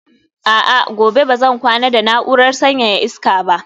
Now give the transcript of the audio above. a'a, gobe ba zan kwana da na'urar sanyaya iska ba